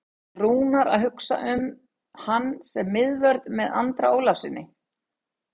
Er Rúnar að hugsa hann sem miðvörð með Andra Ólafssyni?